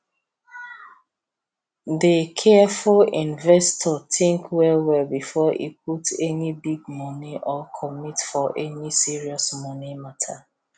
the careful investor think well well before e put any big money or commit for any serious money matter